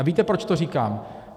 A víte, proč to říkám?